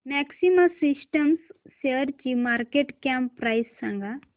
maxima Systems शेअरची market cap price सांगा